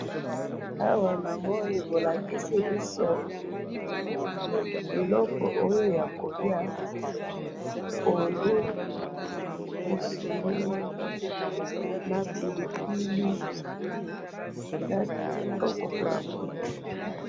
awa namoni bolakisi biso biloko oyo ya koliya pondou, misuni na pilipili eza kitoko pona koliya.